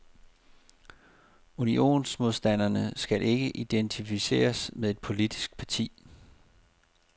Unionsmodstanderne skal ikke identificeres med et politisk parti.